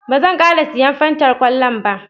Ba zan ƙara siyan Fantar kwallon ba